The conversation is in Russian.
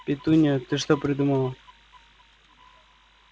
петунья ты что придумала